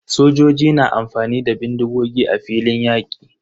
Sojoji na amfani da bindigogi a filin yaƙi.